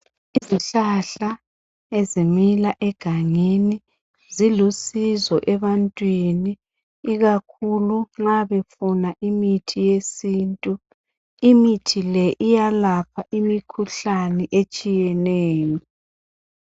Izihlahla ezimila egangeni zilusizo ebantwini ikakhulu nxa befuna imithi yesintu imithi le iyalapha imikhuhlane etshiyeneyo.